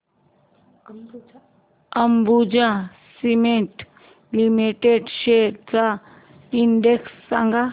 Ambuja cement limited shares चा index सांगा